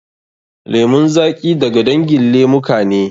Lemun zaƙi da ga dangin lemuka ne.